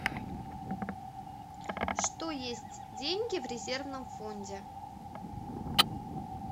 что есть деньги в резервном фонде